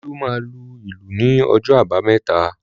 Olú máa lu ìlù ní ọjọ́ àbámẹ́ta